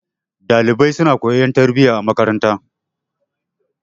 Ɗalibai suna koyon tarbiyya a makaranta.